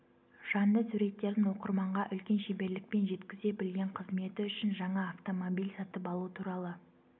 жанды суреттерін оқырманға үлкен шеберлікпен жеткізе білген қызметі үшін жаңа автомобиль сатып алу туралы